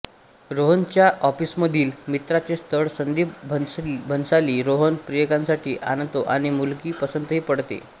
रोहणच्या ऑफीसमधील मित्राचे स्थळ संदिप भंसाली रोहन प्रियंकासाठी आणतो आणि मुलगी पसंतही पडते